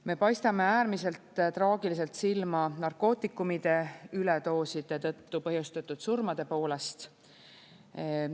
Me paistame äärmiselt traagiliselt silma narkootikumide üledooside tõttu põhjustatud surmade poolest.